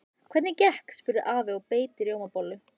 Hvernig gekk? spurði afi og beit í rjómabollu.